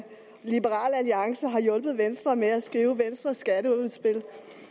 liberal alliance har hjulpet venstre med at skrive venstres skatteudspil det